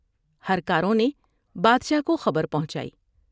ہر کاروں نے بادشاہ کو خبر پہنچائی ۔